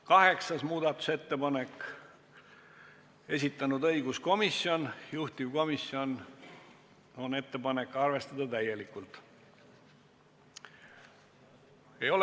8. muudatusettepaneku on esitanud õiguskomisjon, juhtivkomisjoni ettepanek on arvestada seda täielikult.